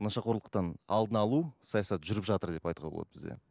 нашақорлықтан алдын алу саясаты жүріп жатыр деп айтуға болады бізде